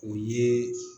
O ye